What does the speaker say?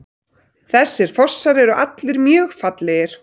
Þessir fossar eru allir mjög fallegir.